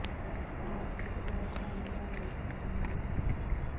ਨਾਸ਼ਤੇ ਤੋਂ ਬਾਅਦ ਵਿਟਾਮਿਨ ਲੈਣ ਲਈ ਸਭ ਤੋਂ ਵਧੀਆ ਹੈ